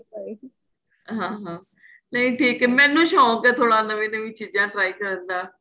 ਹਾਂ ਨਹੀਂ ਠੀਕ ਏ ਮੈਨੂੰ ਸ਼ੋਂਕ ਏ ਥੋੜਾ ਨਵੀਆਂ ਨਵੀਆਂ ਚੀਜ਼ਾਂ try ਕਰਨ ਦਾ